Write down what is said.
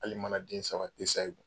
Hali mana den saba isaye